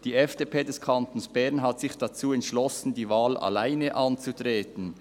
Die FDP des Kantons Bern hat sich dazu entschlossen, die Wahl alleine anzutreten.